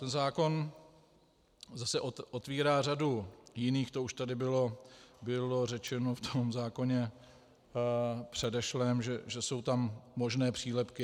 Ten zákon zase otvírá řadu jiných, to už tady bylo řečeno v tom zákoně předešlém, že jsou tam možné přílepky.